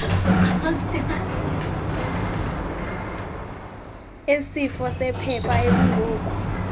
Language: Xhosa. esifo sepha ekungoku